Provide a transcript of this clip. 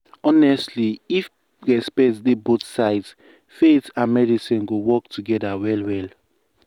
honestly if respect dey both sides faith and medicine go work together well well.